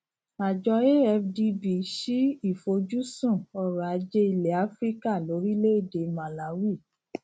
àjọ afdb ṣí ìfojúsun ọrọajé ilẹ áfíríkà lórílẹèdè màláwì